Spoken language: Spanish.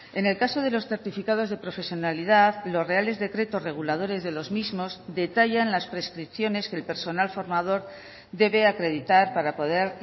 en el caso de los certificados de profesionalidad los reales decretos reguladores de los mismos detallan las prescripciones que el personal formador debe acreditar para poder